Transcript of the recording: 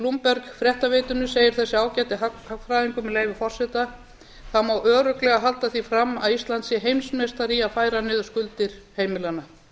bloomberg fréttaveitunni segir þessi ágæti hagfræðingur með leyfi forseta það má örugglega halda því fram að ísland sé heimsmeistari í að færa niður skuldir heimilanna